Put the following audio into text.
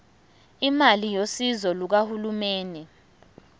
imali yosizo lukahulumeni